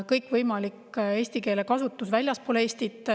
Kõikvõimalik eesti keele kasutus väljaspool Eestit.